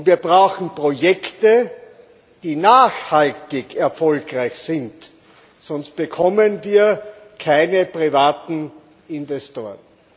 Wir brauchen Projekte, die nachhaltig erfolgreich sind, sonst bekommen wir keine privaten Investoren.